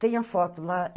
Tem a foto lá.